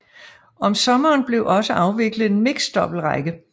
Om sommeren bliver også afviklet en mixeddoublerække